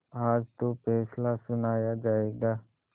आज तो फैसला सुनाया जायगा